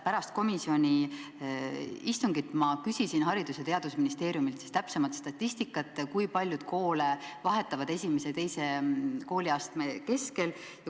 Pärast komisjoni istungit ma küsisin Haridus- ja Teadusministeeriumilt täpsemat statistikat, kui paljud lapsed vahetavad kooli I ja II kooliastme kestel.